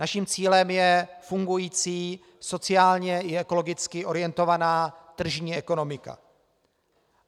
Naším cílem je fungující sociálně i ekologicky orientovaná tržní ekonomika.